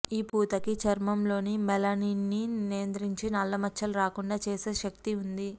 ఈ పూతకి చర్మంలోని మెలనిన్ని నియంత్రించి నల్లమచ్చలు రాకుండా చేసే శక్తి ఉంది